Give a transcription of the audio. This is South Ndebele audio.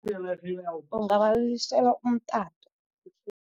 Ungabalilisela umtato.